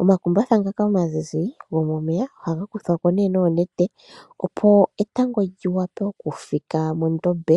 Omakumbatha ngoka omazizi gomomeya oha kuthwako nee noonete opo etango li wape oku fika mondombe.